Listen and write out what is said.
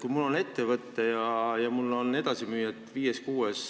Kui mul on ettevõte ja mul on edasimüüjad viies-kuues